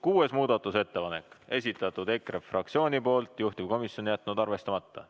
Kuues muudatusettepanek, esitanud EKRE fraktsioon, juhtivkomisjon on jätnud arvestamata.